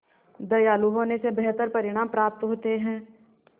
दयालु होने से बेहतर परिणाम प्राप्त होते हैं